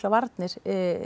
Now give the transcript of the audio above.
varnir